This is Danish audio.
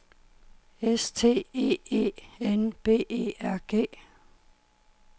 S T E E N B E R G